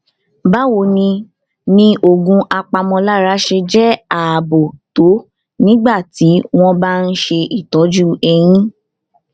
báwo ni ni oògùn apàmòlára ṣe jé ààbò tó nígbà tí wón bá ń ṣe ìtójú eyín